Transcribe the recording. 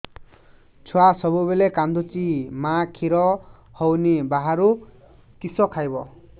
ଛୁଆ ସବୁବେଳେ କାନ୍ଦୁଚି ମା ଖିର ହଉନି ବାହାରୁ କିଷ ଖାଇବ